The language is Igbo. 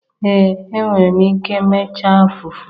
Ee enwere m ike mechaa fufu